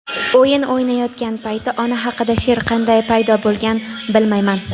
o‘yin o‘ynayotgan payti ona haqida she’r qanday paydo bo‘lgan bilmayman..